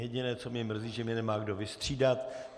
Jediné, co mě mrzí, že mě nemá kdo vystřídat.